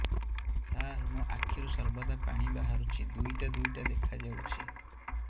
ସାର ମୋ ଆଖିରୁ ସର୍ବଦା ପାଣି ବାହାରୁଛି ଦୁଇଟା ଦୁଇଟା ଦେଖାଯାଉଛି